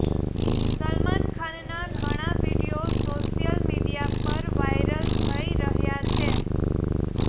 સલમાન ખાનના ઘણા video social media પર વાઈરલ થઈ રહ્યાં છે